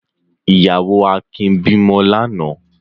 Ìyàwó Akin bímọ lánàá?